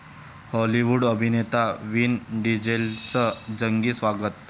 Hollywood अभिनेता Vin डिझेलचं जंगी स्वागत